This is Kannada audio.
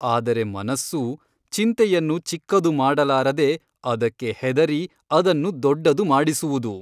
ಆದರೆ ಮನಸ್ಸು ಚಿಂತೆಯನ್ನು ಚಿಕ್ಕದು ಮಾಡಲಾರದೆ ಅದಕ್ಕೆ ಹೆದರಿ ಅದನ್ನು ದೊಡ್ಡದು ಮಾಡಿಸುವುದು.